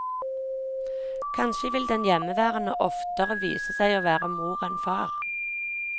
Kanskje vil den hjemmeværende oftere vise seg å være mor enn far.